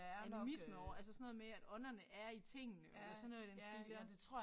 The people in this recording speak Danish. Animisme over altså sådan noget med at ånderne er i tingene eller sådan noget i den stil der